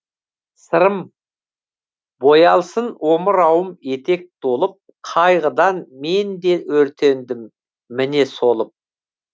сырым боялсын омырауым етек толып қайғыдан мен де өртендім міне солып